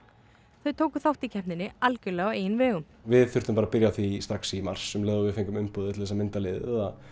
þau tóku þátt í keppninni algjörlega á eigin vegum við þurftum bara að byrja á því strax í mars um leið og við fengum umboðið til þess að mynda liðið að